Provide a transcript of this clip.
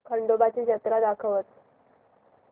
खंडोबा ची जत्रा दाखवच